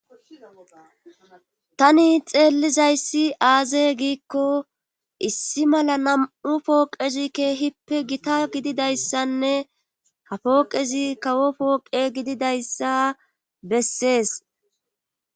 tani xeellizayssi aaze giikko issi mala nam7u pooqezi keehippe gita gididayssanne ha pooqezi kawo pooqe gididayssa bessees